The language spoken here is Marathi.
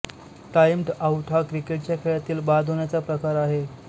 टाईम्ड आउट हा क्रिकेटच्या खेळातील बाद होण्याचा प्रकार आहे